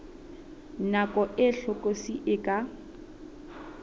nako e hlokolosi e ka